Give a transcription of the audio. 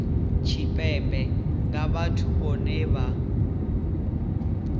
tshipembe nga vhathu vhohe vha